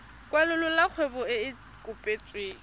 kwalolola kgwebo e e kopetsweng